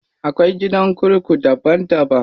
Akwai gidan kurku daban daban.